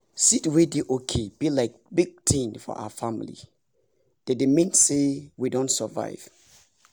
seed wey dey okay be like big thing for our family - they dey mean say we don survive